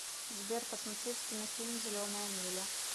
сбер посмотреть кинофильм зеленая миля